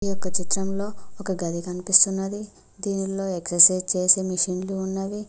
ఈ ఒక చిత్రంలో ఒక గది కనిపిస్తున్నది దీనిలో ఎక్సెరసైజ్ చేసే మెషిన్ లు ఉన్నవి.